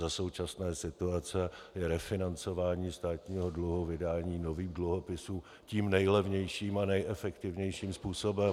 Za současné situace je refinancování státního dluhu vydáním nových dluhopisů tím nejlevnějším a nejefektivnějším způsobem.